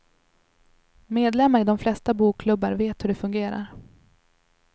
Medlemmar i de flesta bokklubbar vet hur det fungerar.